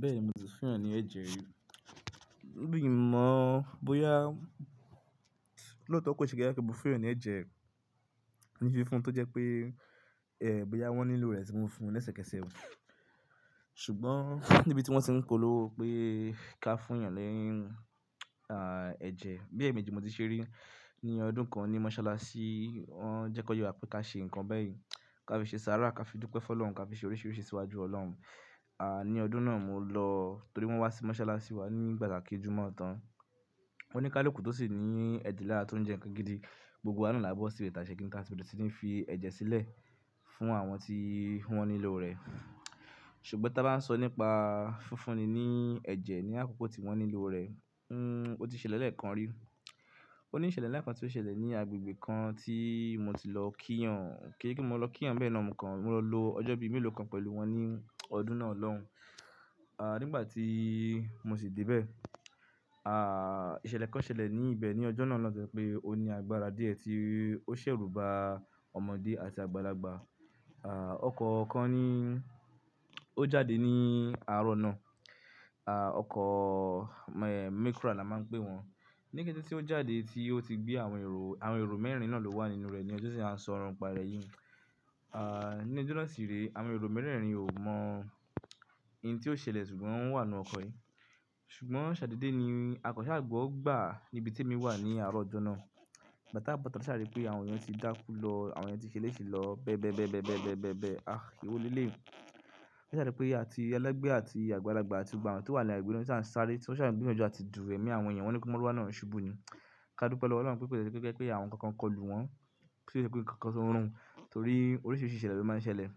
Bẹ́ẹ̀ni, mo ti fún ènìyàn ní ẹ̀jẹ̀ rí. Mi ò mọ̀ bóyá lóòótọ́ kì ṣe bóyá mo fún ènìyàn ní ẹ̀jẹ̀, ní fífún tó jẹ́ pé, ẹ́, bóyá wọ́n nílò rẹ̀ tí wọn fún ní sẹ̀kẹ̀sẹ̀kẹ̀. Ṣùgbọ́n níbi tí wọ́n ti ń polówó pé ká fún èèyàn ni ẹ̀jẹ̀, bí èèmejì ni mo ti ṣe rí ní ọdún kan ní mọ́ṣáláṣí. Wọ́n jẹ́ kọ yé wá pé ká ṣe ǹkan bẹ́ẹ̀ yẹn, ká fi ṣe sàárà, ká fi dúpẹ́ fún Ọlọ́run, ká fi ṣe oríṣiríṣi síwájú Ọlọ́run. À, ní ọdún náà mo lọ torí wọ́n wá sí mọ́ṣáláṣí wa ní ìgbà tá kè jùmọ̀ tán. Wọ́n ní kálukú tó sì ní ẹdi lará tó ń jẹ ǹkan gidi. Gbogbo wa náà lá bó síbẹ̀ tá a bẹ̀rẹ̀ sì ní fi ẹ̀jẹ̀ sílẹ̀ fún àwọn tí wọ́n nílò rẹ̀. Ṣùgbọ́n tí a bá ń sọ nípa fún fún ni ní ẹ̀jẹ̀ ní àkókò tí wọ́n nílò rẹ̀, ó ti ṣẹlẹ̀ lẹ́ẹ̀kan rí. Ó ní ìṣẹ̀lẹ̀ ń lá kan tí ó ṣẹlẹ̀ ní agbègbè kan tí mo ti lọ kíyàn. Kì í ṣe pé mo lọ kíyàn ni bẹ́ẹ̀ náà mò kan. Mo lọ lò ọjọ́ bíi mélòó kan pẹ̀lú wọn ní ọdún náà lọ́hun. À, nígbà tí mo sì dé bẹ́ẹ̀, à, ìṣẹ̀lẹ̀ kan ṣẹlẹ̀ ní ibẹ̀ ní ọjọ́ náà lọ́hun tó jẹ́ pé ó ní agbára díẹ̀ tí ó ṣẹ̀ rùba ọmọdé àti àgbàlagbà. Ọkọ̀ kan ní-- ó jáde ní àárọ̀ náà. Ọkọ̀, Micra ni wọ́n máa ń pè wọ́n. Ní kété tí ó jáde tí ó ti gbé àwọn èrò, àwọn èrò mẹ́rin náà ló wà nínú rẹ̀ ni ọjọ́ tí a ń sọ ọ̀rọ̀ ǹ pa rẹ̀ yìí. Ní ọjọ́ náà sí rèé, àwọn èrò mẹ́rẹ̀ẹ̀rin ò mọ ohun tí yíò ṣẹlẹ̀ ṣùgbọ́n wọ́n wà nínú ọkọ̀ yìí. Ṣùgbọ́n ṣàdédé ni a kan ṣa gbọ́ gbà níbi tí èmi wà ní àárọ̀ ọjọ́ náà. Ìgbà tí a bọ̀ sitáa a sá rí pé àwọn èèyàn ti dákú lọ, àwọn èèyàn ti ṣeléṣe lọ bẹ́ẹ̀ bẹ́ẹ̀ bẹ́ẹ̀ bẹ́ẹ̀ bẹ́ẹ̀ bẹ́ẹ̀ bẹ́ẹ̀ bẹ́ẹ̀. Ah! Ewo lé lèyí. A sá rí pé àti ẹlẹ́gbẹ̀ẹ́ àti àgbàlagbà àti gbogbo àwọn tó wà ní àgbégbe tí wọ́n ṣà ń ṣáré, tí wọ́n ṣà ń gbìyànjú àti dù ẹ̀mí àwọn èèyàn wọ́n ní pé mọ́ruwà náà ó ṣubú ni. Ká dúpẹ́ lọ́wọ́ Ọlọ́run pé kò jẹ́ kò jẹ́ pé àwọn kan kan kọlù wọ́n, tí kì í ṣe pé ǹkankan tuń rùn torí oríṣiríṣi ìṣẹ̀lẹ̀ ló máa ń ṣẹlẹ̀.